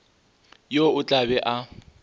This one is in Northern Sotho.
yo o tla be a